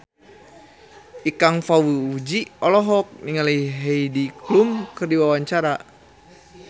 Ikang Fawzi olohok ningali Heidi Klum keur diwawancara